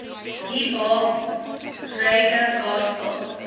hiphop reggae gospel